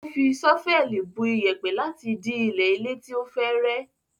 Ó fi ṣọ́fẹ́ẹ̀lì bu iyẹ̀pẹ̀ láti dí ilẹ̀ ilé tí ó fẹ́ rẹ́.